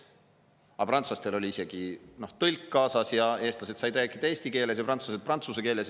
Kuigi prantslastel oli isegi tõlk kaasas, nii et eestlased said rääkida eesti keeles ja prantslased prantsuse keeles.